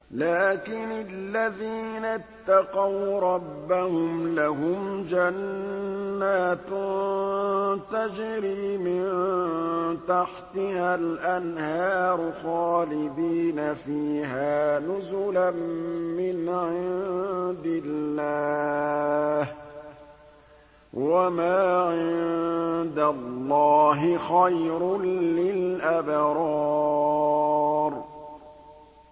لَٰكِنِ الَّذِينَ اتَّقَوْا رَبَّهُمْ لَهُمْ جَنَّاتٌ تَجْرِي مِن تَحْتِهَا الْأَنْهَارُ خَالِدِينَ فِيهَا نُزُلًا مِّنْ عِندِ اللَّهِ ۗ وَمَا عِندَ اللَّهِ خَيْرٌ لِّلْأَبْرَارِ